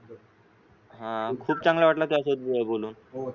हा खूप चांगला वाटला त्यासोबत बोलून